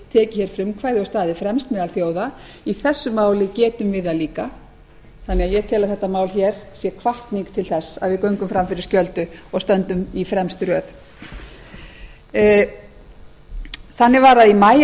tekið hér frumkvæði og staðið fremst meðal þjóða í þessu máli getum við það líka þannig að ég tel að þetta mál hér sé hvatning til þess að við göngum fram fyrir skjöldu og stöndum í fremstu röð þannig var að í maí